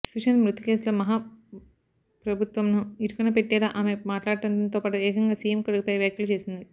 సుశాంత్ మృతి కేసులో మహా ప్రభుత్వంను ఇరుకున పెట్టేలా ఆమె మాట్లాడటంతో పాటు ఏకంగా సీఎం కొడుకుపై వ్యాఖ్యలు చేసింది